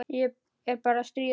Ég er bara að stríða þér.